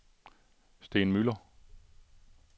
Steen Müller